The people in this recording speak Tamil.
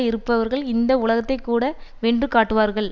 இருப்பவர்கள் இந்த உலகத்தையேகூட வென்று காட்டுவார்கள்